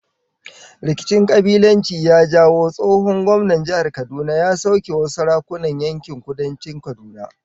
Rikicin kabilanci ya jawo tsohon gwamnan jihar Kaduna ya sauke wasu sarakunan yankin Kudancin Kaduna